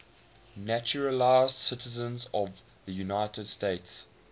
naturalized citizens of the united states